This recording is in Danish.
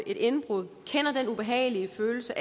et indbrud kender den ubehagelige følelse